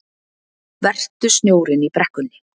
Vertu snjórinn í brekkunni